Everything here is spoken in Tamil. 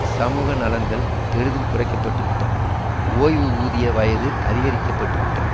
சமூக நலன்கள் பெரிதும் குறைக்க பட்டு விட்டன ஓய்வூதிய வயது அதிகரிக்கப்பட்டு விட்டன